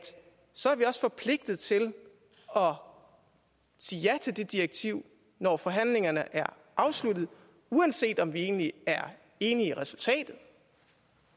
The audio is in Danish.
så er vi også forpligtet til at sige ja til det direktiv når forhandlingerne er afsluttet uanset om vi egentlig er enige